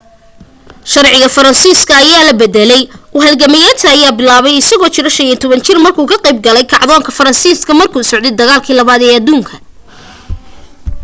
sharciga faraansiska ayaa la bedelay u halgameyadiisa ayaa bilaabatay isagoo jiro 15 jir markuu ka qayb galay kacdoonka fransiiska markuu socday dagaalkii 2aad ee aduunka